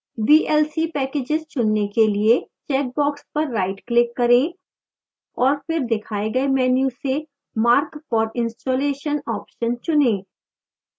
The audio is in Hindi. vlc packages चुनने के लिए चेकबॉक्स पर rightclick करें और फिर दिखाए गए मेन्यू से mark for installation ऑप्शन चुनें